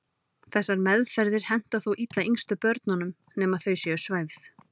Þessar meðferðir henta þó illa yngstu börnunum nema þau séu svæfð.